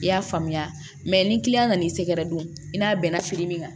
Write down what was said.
I y'a faamuya ni nan'i sɛgɛrɛ don i n'a bɛnna fili min kan